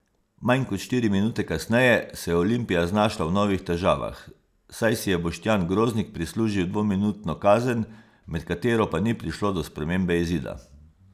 Manj kot štiri minute kasneje se je Olimpija znašla v novih težavah, saj si je Boštjan Groznik prislužil dvominutno kazen, med katero pa ni prišlo do spremembe izida.